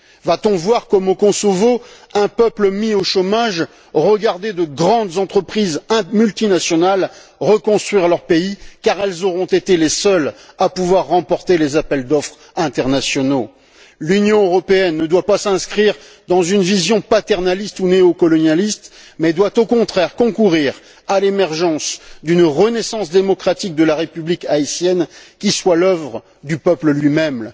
Va t on voir, comme au Kosovo, un peuple mis au chômage regarder de grandes entreprises multinationales reconstruire leur pays car elles auront été les seules à pouvoir remporter les appels d'offres internationaux? L'Union européenne ne doit pas s'inscrire dans une vision paternaliste ou néocolonialiste, mais doit, au contraire, concourir à l'émergence d'une renaissance démocratique de la République haïtienne qui soit l'œuvre du peuple lui même.